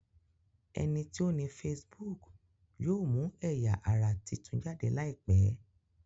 ẹní tí o ní Facebook yóò mú ẹya-ara títún jáde láìpé.